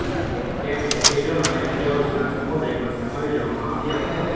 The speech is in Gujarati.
તેમને કેજૂન અને ક્રેઓલ્સ સમુદાયમાં સમાવી લેવામાં આવ્યા હતા